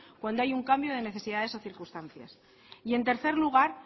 cuando hay un cambio de necesidades o circunstancias y en tercer lugar